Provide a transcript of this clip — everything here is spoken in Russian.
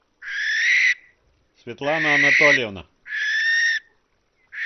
светлана анатольевна